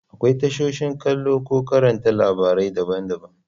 Akwai tashoshin kallo ko karanta labarai daban-daban.